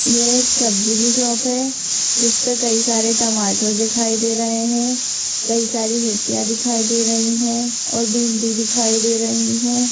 यह एक सब्जी की शॉप है जिस पर कई सारे टमाटर दिखाई दे रहे हैं कई सारी मिर्चियां दिखाई दे रही हैं और भिंडी दिखाई दे रही हैं।